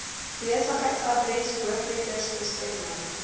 besigheidsadres hoofletters bestemming